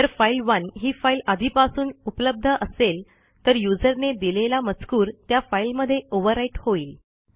जर फाइल1 ही फाईल आधीपासून उपलब्ध असेल तरuserने दिलेला मजकूर त्या फाईलमध्ये ओव्हरव्हराईट होईल